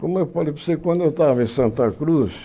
Como eu falei para você, quando eu estava em Santa Cruz,